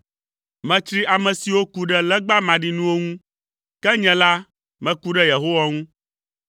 Metsri ame siwo ku ɖe legba maɖinuwo ŋu; ke nye la meku ɖe Yehowa ŋu.